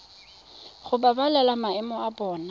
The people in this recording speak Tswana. go babalela maemo a bona